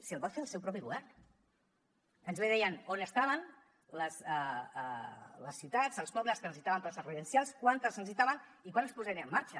si els va fer el seu propi govern ens bé deien on estaven les ciutats els pobles que necessitaven places residencials quantes en necessitaven i quan es posarien en marxa